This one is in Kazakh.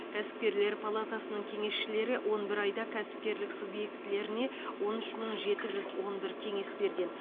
кәсіпкерлер палатасының кеңесшілері он бір айда кәсіпкерлік субъектілеріне он үш мың жеті жүз он бір кеңес берген